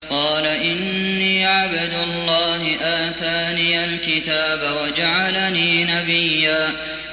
قَالَ إِنِّي عَبْدُ اللَّهِ آتَانِيَ الْكِتَابَ وَجَعَلَنِي نَبِيًّا